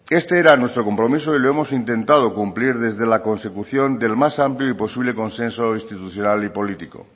este era nuestro compromiso y lo hemos intentado cumplir desde la consecución del más amplio y posible consenso institucional y político